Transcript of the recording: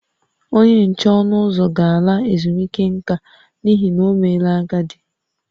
Onye nche ọnụ ụzọ ga-ala ezumike nka n’ihi na o meela agadi